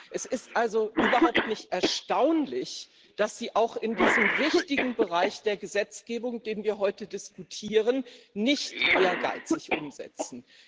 Es ist also überhaupt nicht erstaunlich, dass Sie auch in diesem wichtigen Bereich der Gesetzgebung, über den wir heute diskutieren, nicht ehrgeizig umsetzen.